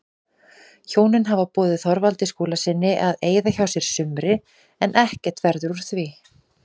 Hjónin hafa boðið Þorvaldi Skúlasyni að eyða hjá sér sumri en ekkert verður úr því.